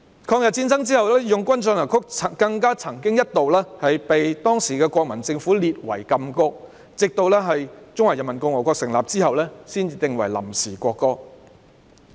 抗日戰爭後，"義勇軍進行曲"更一度被當時的國民政府列為禁歌，直至中華人民共和國成立後才定為臨時國歌。